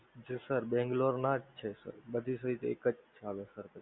જી sir બેંગલોરના જ છે બધી સહિત એક જ છે.